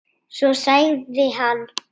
Svo sagði hann